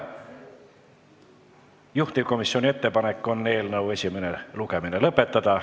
Juhtivkomisjoni ettepanek on eelnõu esimene lugemine lõpetada.